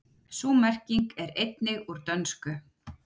sú merking er einnig úr dönsku